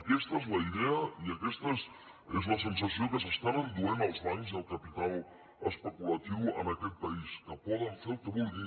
aquesta és la idea i aquesta és la sensació que s’estan enduent els bancs i el capital es·peculatiu en aquest país que poden fer el que vulguin